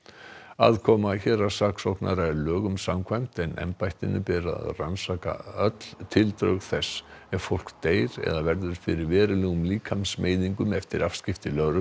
aðkoma héraðssaksóknara er lögum samkvæmt en embættinu ber að rannsaka öll tildrög þess ef fólk deyr eða verður fyrir verulegum líkamsmeiðingum eftir afskipti lögreglu